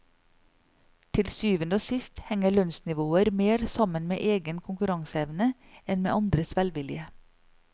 Til syvende og sist henger lønnsnivåer mer sammen med egen konkurranseevne enn med andres velvilje.